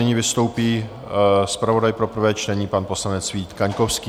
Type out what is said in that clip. Nyní vystoupí zpravodaj pro prvé čtení, pan poslanec Vít Kaňkovský.